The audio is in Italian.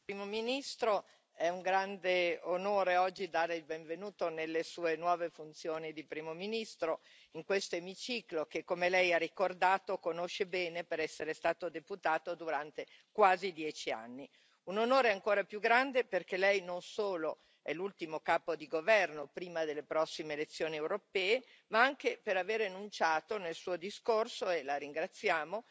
Signor Presidente, onorevoli colleghi, Primo ministro, è un grande onore oggi darle il benvenuto nelle Sue nuove funzioni di Primo ministro in questo emiciclo che, come Lei ha ricordato, conosce bene per essere stato deputato durante quasi dieci anni. Un onore ancora più grande perché Lei non solo è l'ultimo capo di governo prima delle prossime elezioni europee, ma anche per aver enunciato nel suo discorso, e La ringraziamo,